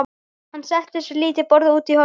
Hann settist við lítið borð úti í horni.